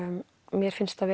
mér finnst það